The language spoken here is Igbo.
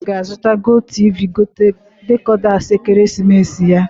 Ọtụtụ ndị mmadụ ga-azụta GOTV decoders ekeresimesi ya.